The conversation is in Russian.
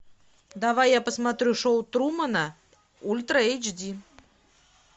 давай я посмотрю шоу трумана ультра эйч ди